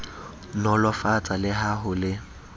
nolofatsa le ha ho le